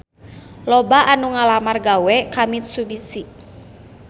Loba anu ngalamar gawe ka Mitsubishi